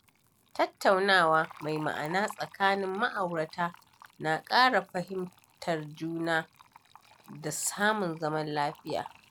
Tattaunawa mai ma’ana tsakanin ma’aurata na ƙara fahimtar juna da samun zaman lafiya.